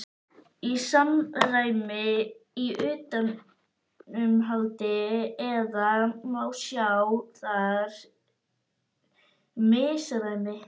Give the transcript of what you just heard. Er samræmi í utanumhaldi eða má sjá þar misræmi?